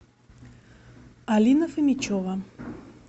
алина фомичева